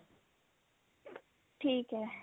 ਠੀਕ ਹੈ